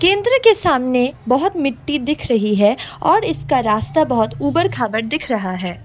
चित्र के सामने बहुत मिट्टी दिख रही है और इसका रास्ता बहुत उबड़ खाबड़ दिख रहा है।